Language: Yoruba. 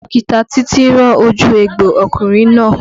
Dókítà títí rán ojú egbò ọkùnrin náà